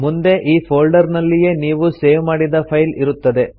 ಮುಂದೆ ಈ ಫೋಲ್ಡರ್ ನಲ್ಲಿಯೇ ನೀವು ಸೇವ್ ಮಾಡಿದ ಫೈಲ್ ಇರುತ್ತದೆ